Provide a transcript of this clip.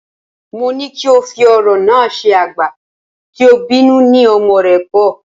Mó ní kí o fi ọ̀rọ̀ náà ṣe, "àgbà tí ò bínú ni ọmọ rẹ pọ̀"